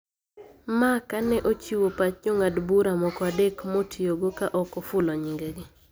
Ma ka ne ochiwo pach jong`ad bura moko adek motiyogo ka ok ofulo nyingegi